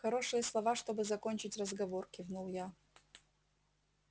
хорошие слова чтобы закончить разговор кивнул я